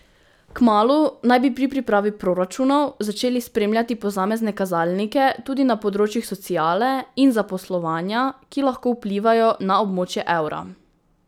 Kmalu naj bi pri pripravi proračunov začeli spremljati posamezne kazalnike tudi na področjih sociale in zaposlovanja, ki lahko vplivajo na območje evra.